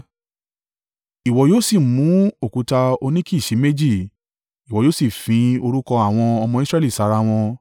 “Ìwọ yóò sì mú òkúta óníkìsì méjì, ìwọ yóò sì fín orúkọ àwọn ọmọ Israẹli sára wọn.